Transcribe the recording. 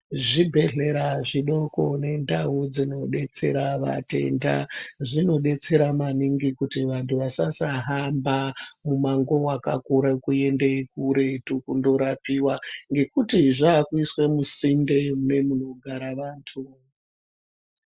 Zvibhedhlera zvidoko nendau dzinodetsera vatenda, zvinodetsera maningi kuti vantu vasasahamba mumango wakakura kuenda kuretu kundorapiwa, ngekuti zvakuiswa musinde mumunogara vantu.